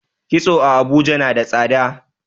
kitso a Abuja nada tsada